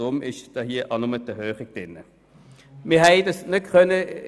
Deshalb ist hier auch nur eine Erhöhung enthalten und keine Senkung.